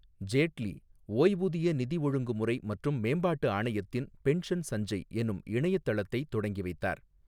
ஜேட்லி, ஓய்வூதிய நிதி ஒழுங்கு முறை மற்றும் மேம்பாட்டு ஆணையத்தின், பென்ஷன் சஞ்சய் என்னும் இணையத் தளத்தை தொடங்கி வைத்தார்.